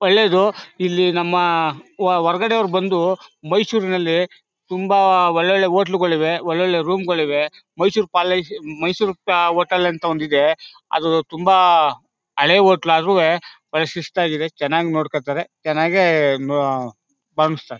ಒಳ್ಳೇದು ಇಲ್ಲಿ ನಮ್ಮ ಹೊರಗಡೆ ಅವ್ರು ಬಂದು ನಮ್ಮ ಮೈಸೂರಿನಲ್ಲ ತುಂಬಾ ಒಳ್ಳೊಳ್ಳೆ ಹೋಟೆಲ್ಗಳಿವೆ ಒಳ್ಳೊಳ್ಳೆ ರೂಮ್ಗಳಿವೆ ಮೈಸೂರ್ ಪ್ಯಾಲೇಸ್ ಮೈಸೂರ್ ಹೋಟೆಲ್ ಅಂತ ಒಂದಿದೆ ಅದು ತುಂಬಾ ಹಳೆ ಹೋಟ್ಲು ಆದ್ರುವೇ ಒಳ್ಳೆ ಶಿಸ್ತಾಗಿದೆ ಚೆನ್ನಾಗ್ ನೋಡ್ಕೋತಾರೆ ಚೆನ್ನಾಗೇ